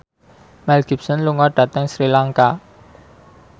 Mel Gibson lunga dhateng Sri Lanka